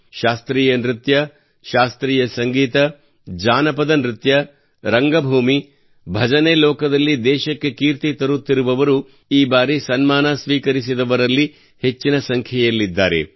ಶಾಸ್ತ್ರೀಯ ನೃತ್ಯ ಶಾಸ್ತ್ರೀಯ ಸಂಗೀತ ಜಾನಪದ ನೃತ್ಯ ರಂಗಭೂಮಿ ಭಜನೆ ಲೋಕದಲ್ಲಿ ದೇಶಕ್ಕೆ ಕೀರ್ತಿ ತರುತ್ತಿರುವವರು ಈ ಬಾರಿ ಸನ್ಮಾನ ಸ್ವೀಕರಿಸಿದವರಲ್ಲಿ ಹೆಚ್ಚಿನ ಸಂಖ್ಯೆಯಲ್ಲಿದ್ದಾರೆ